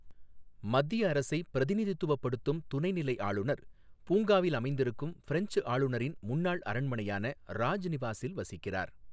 மத்திய அரசைப் பிரதிநித்துவப்படுத்தும் துணை நிலை ஆளுநர், பூங்காவில் அமைந்திருக்கும் பிரெஞ்சு ஆளுநரின் முன்னாள் அரண்மனையான ராஜ் நிவாசில் வசிக்கிறார்.